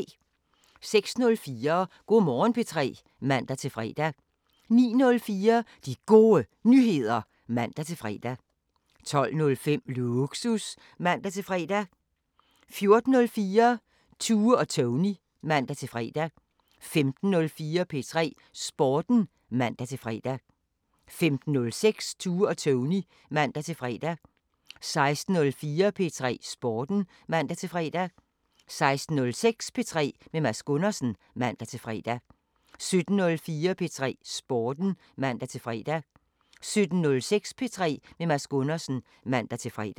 06:04: Go' Morgen P3 (man-fre) 09:04: De Gode Nyheder (man-fre) 12:05: Lågsus (man-fre) 14:04: Tue og Tony (man-fre) 15:04: P3 Sporten (man-fre) 15:06: Tue og Tony (man-fre) 16:04: P3 Sporten (man-fre) 16:06: P3 med Mads Gundersen (man-fre) 17:04: P3 Sporten (man-fre) 17:06: P3 med Mads Gundersen (man-fre)